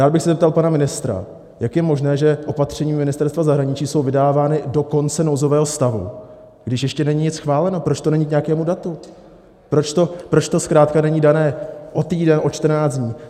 Rád bych se zeptal pana ministra, jak je možné, že opatření Ministerstva zahraničí jsou vydávána do konce nouzového stavu, když ještě není nic schváleno, proč to není k nějakému datu, proč to zkrátka není dané o týden, o 14 dní.